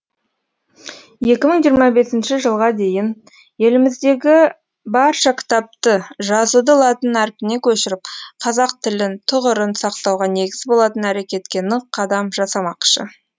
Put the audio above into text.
екі мың жиырма бесінші жылға дейін еліміздегі барша кітапты жазуды латын әрпіне көшіріп қазақ тілін тұғырын сақтауға негіз болатын әрекетке нық қадам жасамақшы